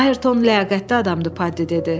Ayrton ləyaqətli adamdır, Paddy dedi.